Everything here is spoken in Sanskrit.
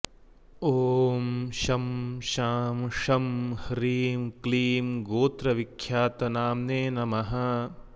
ॐ शं शां षं ह्रीं क्लीं गोत्रविख्यातनाम्ने नमः